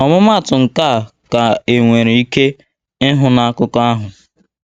ọmụmaatụ nkea ka enwere ike ịhụ n akụkọ ahụ